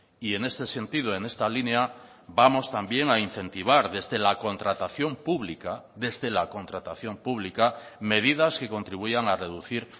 y en este sentido en esta línea vamos también a incentivar desde la contratación pública desde la contratación pública medidas que contribuyan a reducir